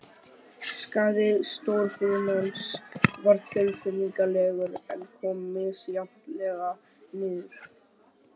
Skaði stórbrunans var tilfinnanlegur, en kom misjafnlega niður.